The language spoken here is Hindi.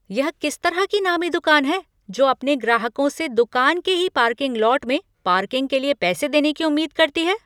यह किस तरह की नामी दुकान है जो अपने ग्राहकों से दुकान के ही पार्किंग लॉट में पार्किंग के लिए पैसे देने की उम्मीद करती है!